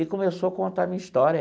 E começou a contar a minha história.